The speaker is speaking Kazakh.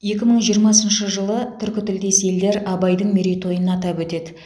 екі мың жиырмасыншы жылы түркі тілдес елдер абайдың мерейтойын атап өтеді